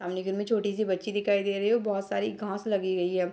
सामने घर में छोटी सी बच्ची दिखाई दे रही है बहुत सारी घास लगी हुई है।